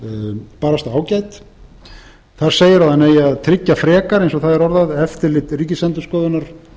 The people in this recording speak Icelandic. bara ágæt þar segir að hann eigi að tryggja frekar eins og það er orðað eftirlit ríkisendurskoðunar